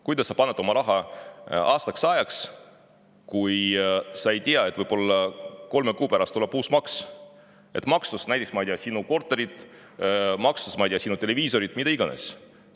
Kuidas sa paned oma raha aastaks ajaks, kui sa ei tea, et võib-olla kolme kuu pärast tuleb uus maks, ma ei tea, sinu korteri eest, ma ei tea, sinu televiisori eest, mida iganes.